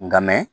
Nka mɛ